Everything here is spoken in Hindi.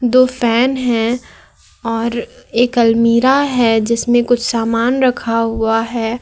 दो फैन है और एक अलमीरा है जिसमें कुछ सामान रखा हुआ है।